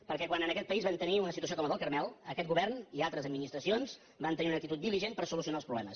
perquè quan en aquest país vam tenir una situació com la del carmel aquest govern i altres administracions van tenir una actitud diligent per solucionar els problemes